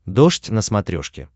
дождь на смотрешке